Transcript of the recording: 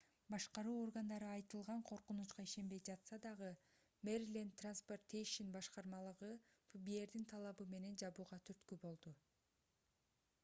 башкаруу органдары айтылган коркунучка ишенбей жатса дагы мериленд транспортейшен башкармалыгы фбрдин талабы менен жабууга түрткү болду